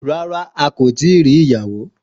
Rárá a ti ri ìyàwó